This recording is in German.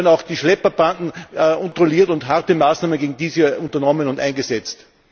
Und drittens gehören auch die Schlepperbanden kontrolliert und harte Maßnahmen gegen diese unternommen und eingesetzt.